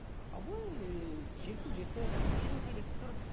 а былай ыыы жастарға еркіндік беру керек дұрыс